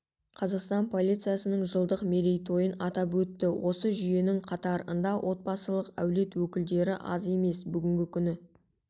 қазақстан полициясының жылдық мерейтойын атап өтті осы жүйенің қатарында отбасылық әулет өкілдері аз емес бүгінгі күні